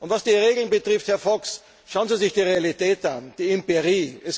Was die Regeln betrifft, Herr Fox, schauen Sie sich die Realität an, die Empirie.